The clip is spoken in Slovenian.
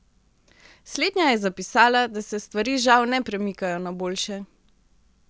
Slednja je zapisala, da se stvari žal ne premikajo na boljše.